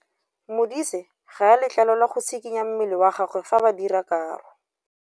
Modise ga a letlelelwa go tshikinya mmele wa gagwe fa ba dira karô.